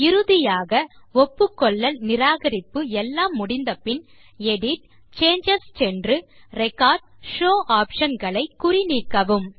இறுதியாக ஒப்புக்கொள்ளல் நிராகரிப்பு எல்லாம் முடிந்த பின் எடிட் ஜிடிஜிடி சேஞ்சஸ் சென்று ரெக்கார்ட் ஷோவ் ஆப்ஷன் களை குறி நீக்கவும்